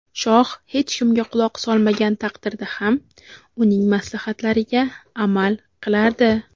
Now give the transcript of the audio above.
Shoh hech kimga quloq solmagan taqdirda ham uning maslahatlariga amal qilardi.